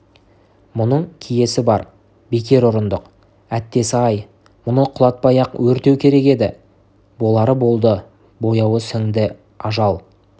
мұның киесі бар бекер ұрындық әттесі-ай мұны құлатпай-ақ өртеу керек еді болары болды бояуы сіңді ажал